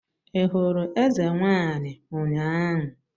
Ị hụrụ eze nwaanyi ụnyaahụ?